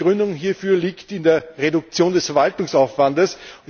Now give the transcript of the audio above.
Die Begründung hierfür liegt in der Reduktion des Verwaltungsaufwandes.